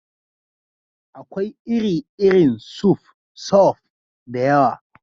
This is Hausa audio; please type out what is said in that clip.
Akwai iri-irin suf (soup) da yawa.